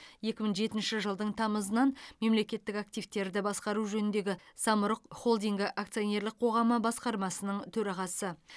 екі мың жетінші жылдың тамызынан мемлекеттік активтерді басқару жөніндегі самұрық холдингі акционерлік қоғамы басқармасының төрағасы